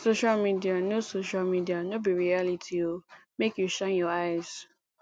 social media no social media no be reality o make you shine your eyes